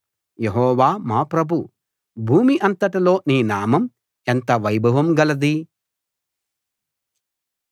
యెహోవా మా ప్రభూ భూమి అంతటిలో నీ నామం ఎంత వైభవం గలది